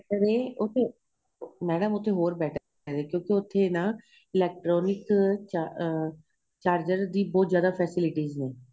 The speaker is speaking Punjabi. ਉਥੇ ਮੈਡਮ ਉਥੇ ਹੋਰ batter ਏ ਕਿਉਂਕਿ ਉਥੇ ਨਾ electronic ਅਹ charger ਦੀ ਬਹੁਤ ਜਿਆਦਾ facilities ਨੇ